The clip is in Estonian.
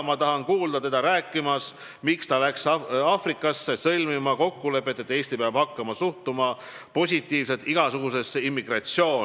Ma tahan kuulda teda rääkimas, miks ta läks Aafrikasse sõlmima kokkulepet, et Eesti peab hakkama suhtuma positiivselt igasugusesse immigratsiooni.